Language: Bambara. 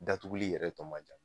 Datuguli yɛrɛ tɔ man ca